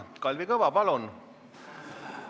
Kalvi Kõva, palun!